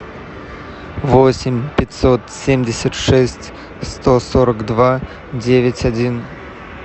восемь пятьсот семьдесят шесть сто сорок два девять один